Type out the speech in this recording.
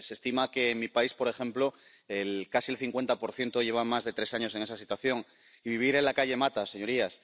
Se estima que, en mi país, por ejemplo, casi el 50 lleva más de tres años en esa situación, y vivir en la calle mata, señorías.